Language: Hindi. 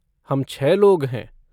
हम छह लोग हैं।